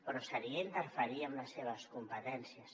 però seria interferir en les seves competències